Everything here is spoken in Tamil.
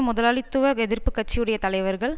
முதலாளித்துவ எதிர்ப்பு கட்சியுடைய தலைவர்கள்